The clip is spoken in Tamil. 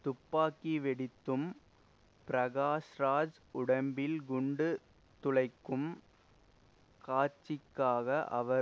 துப்பாக்கி வெடித்தும் பிரகாஷ்ராஜ் உடம்பில் குண்டு துளைக்கும் காட்சிக்காக அவர்